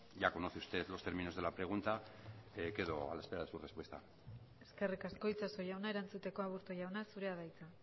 ya conoce usted los términos de la pregunta quedo a la espera de su respuesta eskerrik asko itxaso jauna erantzuteko aburto jauna zurea da hitza